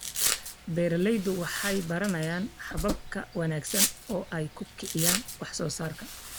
Beeraleydu waxay baranayaan habab ka wanaagsan oo ay ku kiciyaan wax soo saarka.